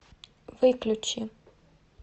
выключи